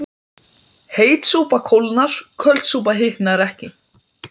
Enn hafði mönnum ekki lærst að taka þjóðfræðina slíkum tökum.